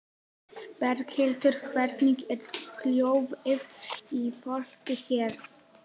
Berghildur: Hvernig er hljóðið í fólki hér?